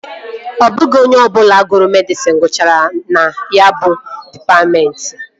Ọ bụghị onye ọbụla gụrụ medịsịn gụchara na ya bụ dịpatmentị